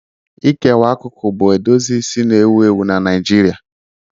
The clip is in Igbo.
Ịkewa akụkụ bụ edozi isi na-ewu ewu na Naijiria.